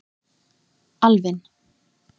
Alvin